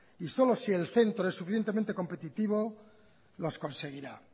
y solo si el centro es suficientemente competitivo los conseguirá